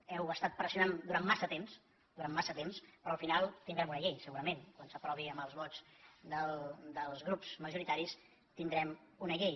heu estat pressionant durant massa temps durant massa temps però al final tindrem una llei segurament quan s’aprovi amb els vots dels grups majoritaris tindrem una llei